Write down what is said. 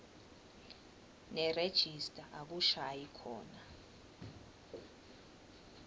nerejista akushayi khona